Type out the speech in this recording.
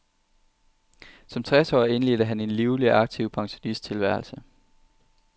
Som tres årig indledte han en livlig og aktiv pensionisttilværelse.